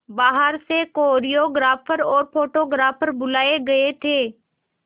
बाहर से कोरियोग्राफर और फोटोग्राफर बुलाए गए थे